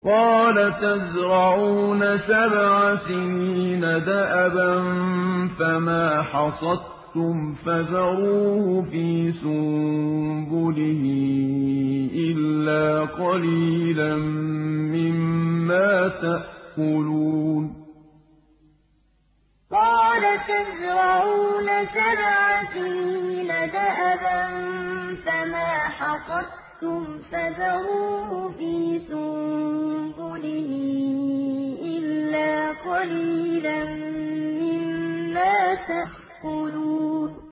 قَالَ تَزْرَعُونَ سَبْعَ سِنِينَ دَأَبًا فَمَا حَصَدتُّمْ فَذَرُوهُ فِي سُنبُلِهِ إِلَّا قَلِيلًا مِّمَّا تَأْكُلُونَ قَالَ تَزْرَعُونَ سَبْعَ سِنِينَ دَأَبًا فَمَا حَصَدتُّمْ فَذَرُوهُ فِي سُنبُلِهِ إِلَّا قَلِيلًا مِّمَّا تَأْكُلُونَ